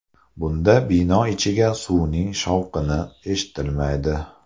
Bunda bino ichiga suvning shovqini eshitilmaydi.